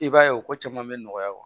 I b'a ye o ko caman bɛ nɔgɔya